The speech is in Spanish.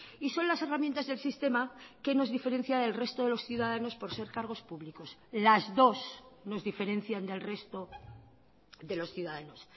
y son las herramientas del sistema que nos diferencia del resto de los ciudadanos por ser cargos públicos las dos nos diferencian del resto de los ciudadanos